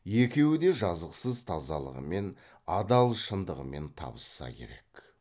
екеуі де жазықсыз тазалығымен адал шындығымен табысса керек